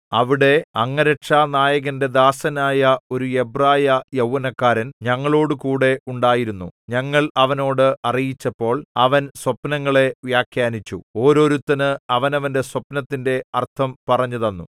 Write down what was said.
അവിടെ അംഗരക്ഷാനായകന്റെ ദാസനായ ഒരു എബ്രായ യൗവനക്കാരൻ ഞങ്ങളോടുകൂടെ ഉണ്ടായിരുന്നു ഞങ്ങൾ അവനോട് അറിയിച്ചപ്പോൾ അവൻ സ്വപ്നങ്ങളെ വ്യാഖ്യാനിച്ചു ഓരോരുത്തന് അവനവന്റെ സ്വപ്നത്തിന്റെ അർത്ഥം പറഞ്ഞുതന്നു